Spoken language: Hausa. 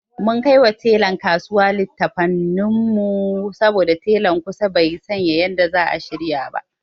Mun kaiwa telan kasuwa likkafanin saboda telan kusan bai san yanda zai shirya shi ba.